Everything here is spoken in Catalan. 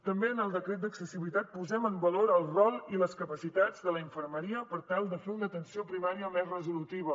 també en el decret d’accessibilitat posem en valor el rol i les capacitats de la infermeria per tal de fer una atenció primària més resolutiva